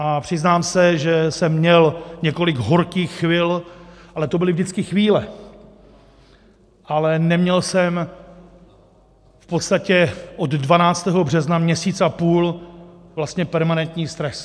A přiznám se, že jsem měl několik horkých chvil, ale to byly vždycky chvíle, ale neměl jsem v podstatě od 12. března měsíc a půl vlastně permanentní stres.